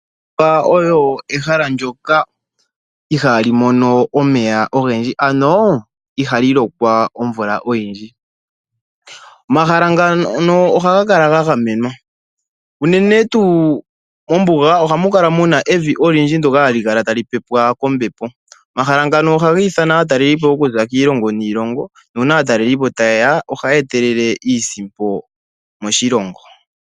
Ombuga oyo ehala ndyoka ihaali mono omeya ogendji, ano ihali lokwa omvula oyindji. Omahala ngano ohaga kala ga gamenwa unene tuu mombuga ohamu kala mu na evi olindji ndyoka hali kala tali pepwa kombepo. Omahala ngano ohaga ithana aatalelipo okuza kiilongo niilongo, nuuna aatalelipo taye ya ohaya etelele iisimpo moshilongo.